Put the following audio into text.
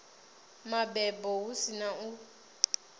mabebo hu si na u